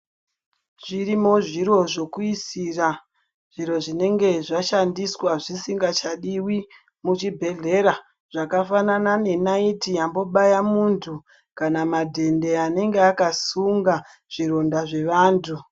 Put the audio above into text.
Zvirimo zviro zvokuyisira zviro zvinenge zvashandiswa zvichingasadiwi muchibhedhlera, zvakafanana nenayithi yambobaya muntu kana madende anenge akasunga zvironda zvevantu.